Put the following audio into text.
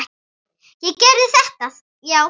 Ég gerði þetta, já.